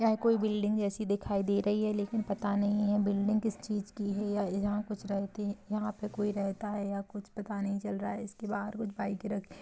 यह कोई बिल्डिंग जैसी दिखाई दे रही है लेकिन पता नही ये बिल्डिंग किस चीज़ की है य जहाँ कुछ रख दि यहाँ पे कोई रहता है या कुछ पता नही चल रहा है इसके बाहर कुछ बाइक रखी--